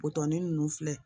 ninnu filɛ